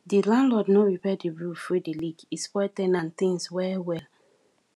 di landlord no repair di roof wey dey leak e spoil ten ant things well well